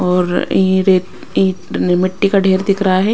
और ये रेत अ मिट्टी का ढेर दिख रहा है।